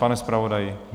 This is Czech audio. Pane zpravodaji?